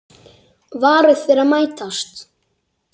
Varir þeirra mætast.